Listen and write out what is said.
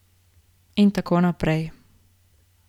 In tako naprej.